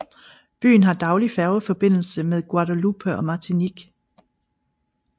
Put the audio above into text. Byen har daglig færgeforbindelse med Guadeloupe og Martinique